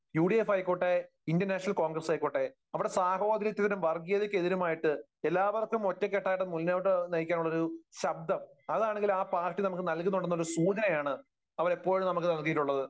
UDF ആയിക്കോട്ടെ, Indian National Congress ആയിക്കോട്ടെ, അവിടെ സാഹോദര്യത്തിനും വർഗീയതയ്‌ക്കെതിരുമായിട്ട് എല്ലാവര്ക്കും ഒറ്റക്കെട്ടായിട്ട് മുന്നോട്ടു നയിക്കാനുള്ള ഒരു ശബ്ദം അതാണെങ്കിൽ ആ പാർട്ടി നമുക്ക് നല്കുന്നുണ്ടെന്നുള്ള ഒരു സൂചനയാണ് അവരെപ്പോഴും നമുക്ക് നൽകിയിട്ടുള്ളത്.